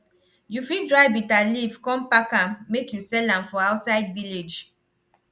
you fit dry bitter leaf con pack am make you sell am for outside village